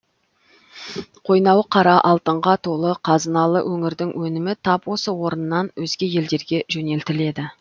қойнауы қара алтынға толы қазыналы өңірдің өнімі тап осы орыннан өзге елдерге жөнелтіледі